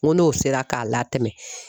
N ko n'o sera k'a latɛmɛ.